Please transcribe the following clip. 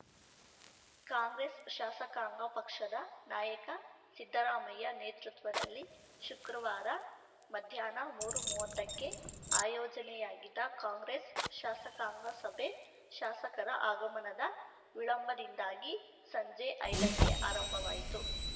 ಕಾಂಗ್ರೆಸ್‌ ಶಾಸಕಾಂಗ ಪಕ್ಷದ ನಾಯಕ ಸಿದ್ದರಾಮಯ್ಯ ನೇತೃತ್ವದಲ್ಲಿ ಶುಕ್ರವಾರ ಮಧ್ಯಾಹ್ನ ಮೂರುಮೂವತ್ತಕ್ಕೆ ಆಯೋಜನೆಯಾಗಿದ್ದ ಕಾಂಗ್ರೆಸ್‌ ಶಾಸಕಾಂಗ ಸಭೆ ಶಾಸಕರ ಆಗಮನದ ವಿಳಂಬದಿಂದಾಗಿ ಸಂಜೆ ಐದಕ್ಕೆ ಆರಂಭವಾಯಿತು